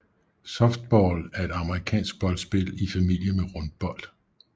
Softball er et amerikansk boldspil i familie med rundbold